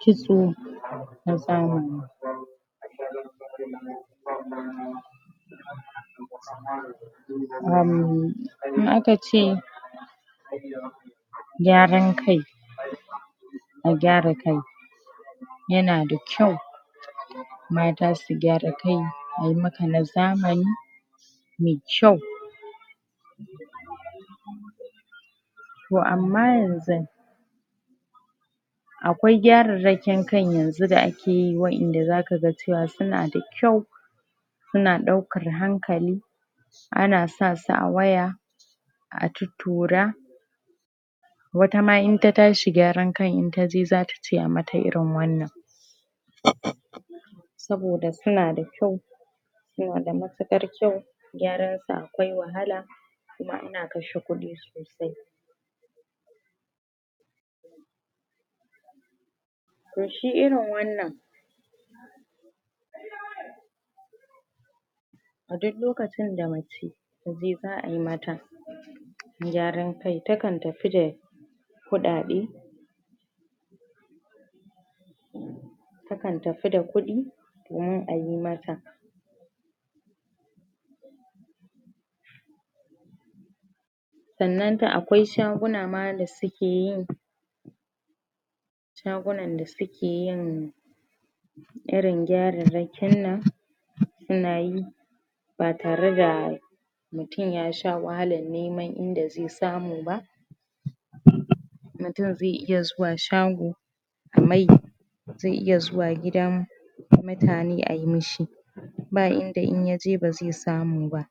kitso na zamani uhm aka ce gyaran kai a gyara kai yana da kyau mata su gyara kai ayi maka na zamani me kyau toh amma ynxun akwai gyararrakin kan yanxu da ake yi wadanda zaka ga cewa suna da kyau suna daukar hankali ana sa su a waya a tuttura wata ma in ta tashi gyaran kan in taje zata ce a mata irin wannan saboda suna da kyau suna da matukar kyau gyaran su akwai wahala kuma ana kashe kudi toh shi irin wannan a dik lokacin da mace taje za ayi mata gyaran kai ta kan tafi da kudade ta kan tafi da kudi domin ayi mata sannan da akwai shaguna ma da suke yin shagunan da suke yin irin gyararrakin nan suna yi ba tare da mutum ya sha wahalar neman inda zai samu ba mutum zai iya zuwa shago a mai zai iya zuwa gidan mutane ayi mishi ba inda in yaje bazai samu ba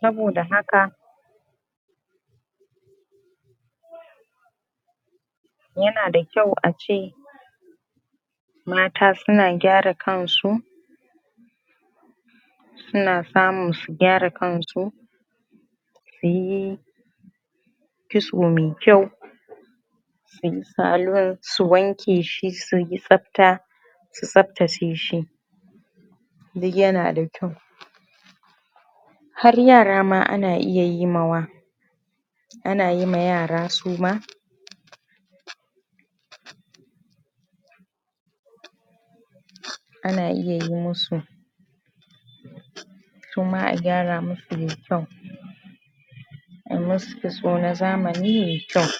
saboda haka yana da kyau ace mata suna gyara kan su suna samu su gyara kan su suyi kitso mai kyau suyi saloon su wanke shi suyi tsafta su tsaftace shi dik yana da kyau har yara ma ana iya yi ma wa anayi ma yara su ma ana iya yi musu su ma a gyara musu yayi kyau ayi musu kitso na zamani yayi kyau